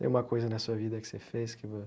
Tem uma coisa na sua vida que você fez que